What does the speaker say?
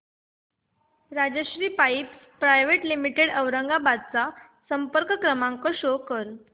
Rajshri pipes private limited Aurangabad चा संपर्क क्रमांक शो कर